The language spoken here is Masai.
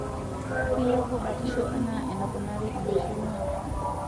Keilepu batisho anaa enaponari enaisho niwok.